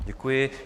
Děkuji.